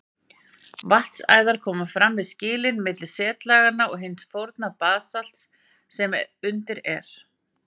Vatnsæðar komu fram við skilin milli setlaganna og hins forna basalts sem undir er.